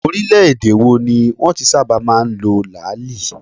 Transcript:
Orílẹ̀ - èdè wo ni wọn ti ń sábà máa ń lo làáàlì?